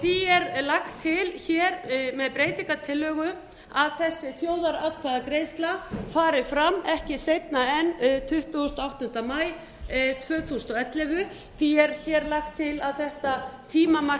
því er lagt til hér með breytingartillögu að þessi þjóðaratkvæðagreiðsla fari fram ekki seinna en tuttugasta og áttunda maí tvö þúsund og ellefu því er hér lagt til að þetta tímamarkaákvæði